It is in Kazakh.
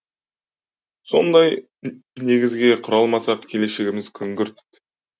сондай негізге құра алмасақ келешегіміз күңгірт